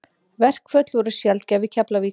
Verkföll voru sjaldgæf í Keflavík.